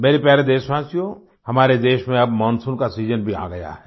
मेरे प्यारे देशवासियों हमारे देश में अब मानसून का सीजन भी आ गया है